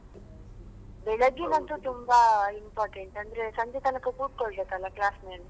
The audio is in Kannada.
ಬೆಳ್ಳಗಿನದ್ದು ತುಂಬಾ important ಅಂದ್ರೆ ಸಂಜೆ ತನಕ ಕುತ್ಕೊಳ್ಬೇಕಲ್ಲ class ಅಲ್ಲಿ.